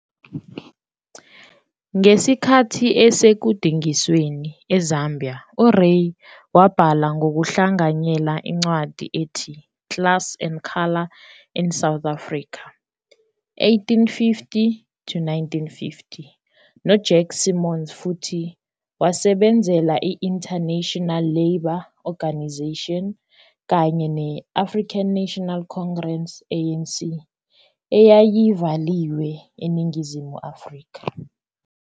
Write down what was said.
Ngesikhathi esekudingisweni eZambia, uRay wabhala ngokuhlanganyela incwadi ethi "Class and Colour in South Africa, 1850-1950" noJack Simons futhi wasebenzela i-International Labour Organisation kanye ne- African National Congress, ANC, eyayivaliwe eNingizimu Afrika.